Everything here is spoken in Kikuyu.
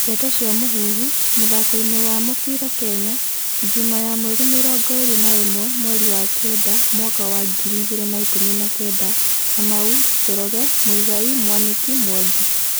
Ndeto cia Mũhuhu, mũthakoini wa mũbĩra Kenya, Juma ya mweri mĩrongo ĩrĩ na imwe, mweri wa kenda, mwaka wa ngiri igĩrĩ na ikumi na kenda:Kamau, Njoroge, Muigai, Mwaniki, Mwangi.